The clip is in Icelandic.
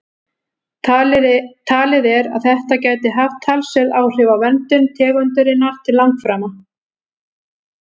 Talið er að þetta gæti haft talsverð áhrif á verndun tegundarinnar til langframa.